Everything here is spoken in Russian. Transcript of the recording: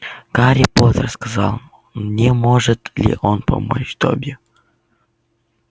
гарри поттер сказал не может ли он помочь добби